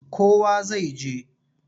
Kowa zai je.